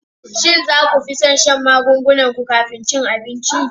Shin za ku fi son shan magungunan ku kafin cin abinci?